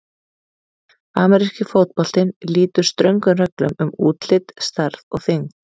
Ameríski fótboltinn lýtur ströngum reglum um útlit, stærð og þyngd.